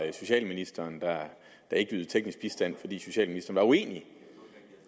at socialministeren ikke ydede teknisk bistand fordi socialministeren var uenig